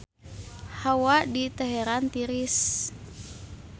Hawa di Teheran tiris